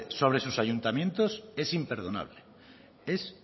sobre sus ayuntamientos es imperdonable es